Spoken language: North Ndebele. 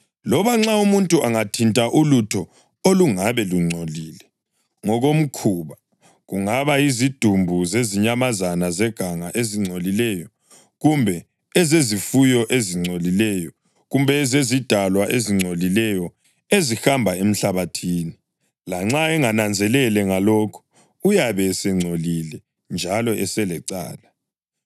Loba nxa umuntu angathinta ulutho olungabe lungcolile ngokomkhuba (kungaba yizidumbu zezinyamazana zeganga ezingcolileyo kumbe ezezifuyo ezingcolileyo kumbe ezezidalwa ezingcolileyo ezihamba emhlabathini) lanxa engananzelele ngalokho, uyabe esengcolile njalo eselecala.